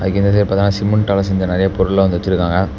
இதுக்கு இந்த சைடு பாத்தனா சிமெண்ட்டால செஞ்ச நெறைய பொருள்ள வந்து வெச்சிருக்காங்க.